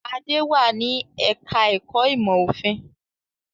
Adé wà ní ẹ̀ka-ẹ̀kọ́ ìmọ̀-òfin.